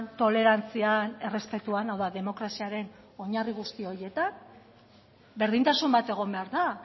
tolerantzian errespetuan hau da demokraziaren oinarri guzti horietan berdintasun bat egon behar da